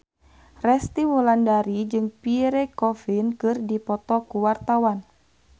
Resty Wulandari jeung Pierre Coffin keur dipoto ku wartawan